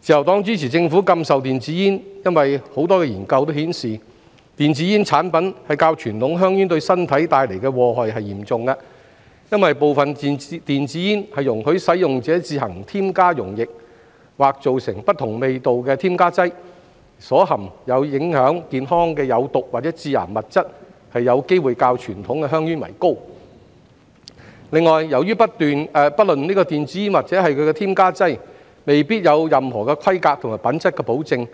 自由黨支持政府禁售電子煙，因為多個研究顯示，電子煙產品較傳統香煙對身體帶來的禍害更嚴重，因部分電子煙容許使用者自行添加溶液和造成不同味道的添加劑，所含有影響健康的有毒或致癌物質有機會較傳統香煙為高；另外，由於不論電子煙或其添加劑均未必有任何規格及品質保證，